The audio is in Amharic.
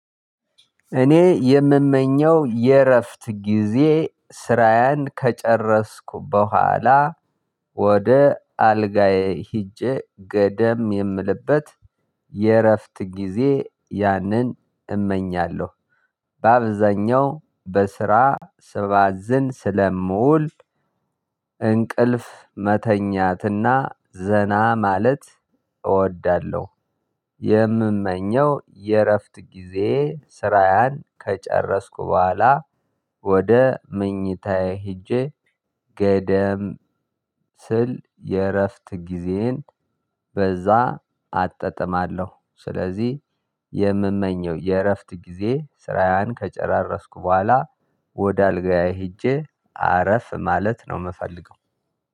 እኔ የምመኘው የእረፍት ጊዜ ስራያን ከጨረስኩ በኋላ ወደ አልጋዬ ሄጄ ገደም የምልበት የእረፍት ጊዜ ያንን እመኛለሁ በአብዛኛው በስራ ስባዝን ስለመውል እንቅልፍ መተኛትና ዘና ማለት እወዳለሁ። የምመኘው የእረፍት ጊዜ ስራያን ከጨረስኩ በኋላ ወደ መኝታዬ ሄጄ ገደም ስል የእረፍት ጊዜዬን በዛ አጠጥማለሁ። ስለዚህ የምመኘው የእረፍት ጊዜ ስራዬን ከጨራረስኩ በኋላ ወደ አልጋዬ ሄጄ አረፍ ማለት ነው። የምፈልገው